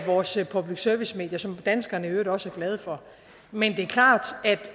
vores public service medier som danskerne i øvrigt også er glade for men det er klart